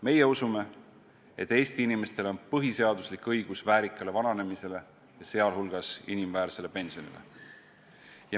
Meie usume, et Eesti inimestel on põhiseaduslik õigus väärikale vananemisele, sealhulgas inimväärsele pensionile.